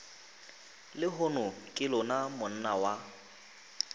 lehono ke lona monna wa